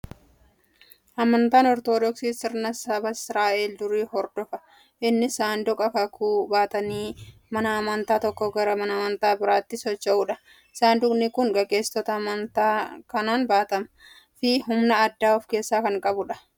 Amantaan Ortoodoksii sirna saba Israa'el durii hordofa. Innis saanduqa kakuu baatanii mana amantaa tokkoo gara mana amantaa biraatti socho'uudha. Saanduqni kun gaggeessitoota amantiin kan baatamuu fi humna addaa of keessaa kan qabudha.